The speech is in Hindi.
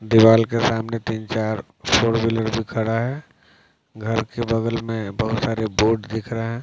दीवाल के सामने तीन चार फोर व्हीलर भी खड़ा हैं घर के बगल में बहुत सारे बोर्ड दिख रहे हैं --